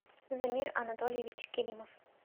замир анатольевич керимов